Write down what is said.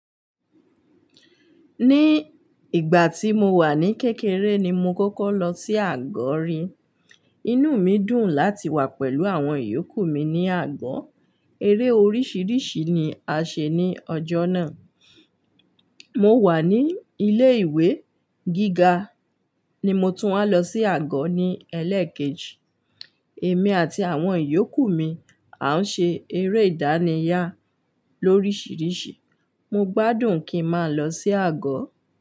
Ní ìgbà tí mo wà ní kékeré ni mo kọ́kọ́ lọ sí àgọ́ rí. Inú mi dùn láti wà pẹ̀lú àwọn ìyókù mi ní àgọ́. Eré oríṣiríṣi ni a ṣe ní ọjọ́ náà. Mo wà ní ilé-ìwé gíga ni mo tún wá lọ sí àgọ́ ní ẹlẹ́ẹ̀kejì. Èmi àti àwọn ìyókù mi a ń ṣe eré ìdárayá lorisirisi. Mo gbádùn kí n máa lọ sí àgọ́